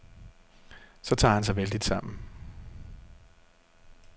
Så tager han sig vældigt sammen.